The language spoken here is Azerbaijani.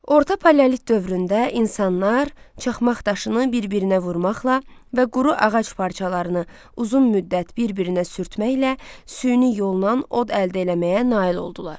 Orta paleolit dövründə insanlar çaxmaq daşını bir-birinə vurmaqla və quru ağac parçalarını uzun müddət bir-birinə sürtməklə süni yolla od əldə eləməyə nail oldular.